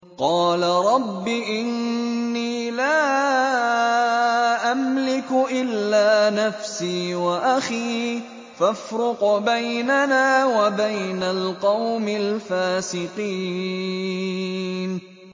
قَالَ رَبِّ إِنِّي لَا أَمْلِكُ إِلَّا نَفْسِي وَأَخِي ۖ فَافْرُقْ بَيْنَنَا وَبَيْنَ الْقَوْمِ الْفَاسِقِينَ